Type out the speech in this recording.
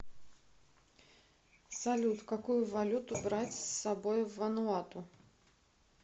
салют какую валюту брать с собой в вануату